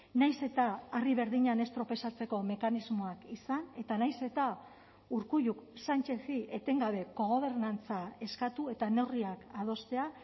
nahiz eta harri berdinean ez tropezatzeko mekanismoak izan eta nahiz eta urkulluk sanchezi etengabe kogobernantza eskatu eta neurriak adostea